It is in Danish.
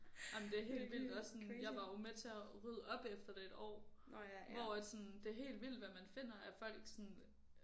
Ej men det er helt vildt også sådan jeg var jo med til at rydde op efter det et år hvor at sådan det er helt vildt hvad man finder at folk sådan